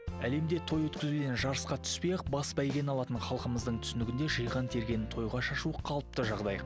әлемде той өткізуден жарысқа түспей ақ бас бәйгені алатын халқымыздың түсінігінде жиған тергенін тойға шашу қалыпты жағдай